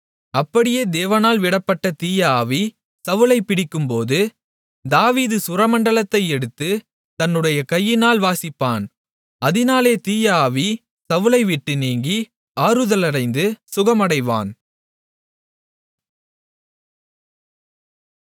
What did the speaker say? அப்படியே தேவனால் விடப்பட்ட தீய ஆவி சவுலைப் பிடிக்கும்போது தாவீது சுரமண்டலத்தை எடுத்து தன்னுடைய கையினால் வாசிப்பான் அதினாலே தீய ஆவி சவுலை விட்டு நீங்கி ஆறுதலடைந்து சுகமடைவான்